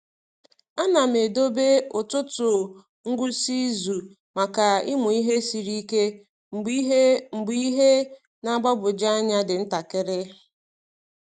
A na m edobe ụtụtụ ngwụsị izu maka ịmụ ihe siri ike mgbe ihe mgbe ihe na-agbagwoju anya dị ntakịrị.